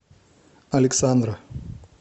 александра